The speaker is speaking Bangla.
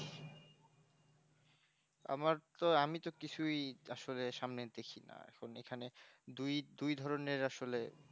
আর তো আমি তো কিছুই আসলে সামনে দেখি না যেখানে দুই দুই ধরনের আসলে